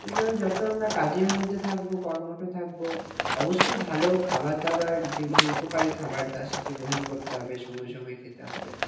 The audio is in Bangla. সুতরাং যত আমরা কাজের মধ্যে থাকবো কর্মঠ থাকবো অবশ্যই ভালো খাবার দাবার যেগুলো উপকারী খাবার তার সাথে গ্রহণ করতে হবে সময় সময় খেতে হবে